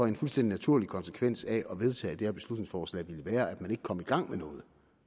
en fuldstændig naturlig konsekvens af at man vedtager det her beslutningsforslag vil være at man ikke kommer i gang med noget